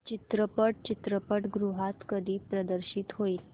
चित्रपट चित्रपटगृहात कधी प्रदर्शित होईल